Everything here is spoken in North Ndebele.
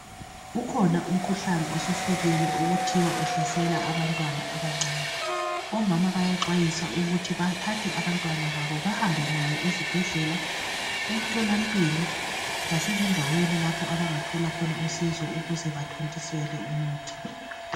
Ukhona umkhuhlane osufikile okuthiwa uhlasela abantwana abancane. Omama bayaxwayiswa ukuthi bathathe abantwana babo bahambe nayo ezibhedlela emtholampilo lasezindaweni lapho abangathola khona usizo ukuze bathontiselwe umuthi.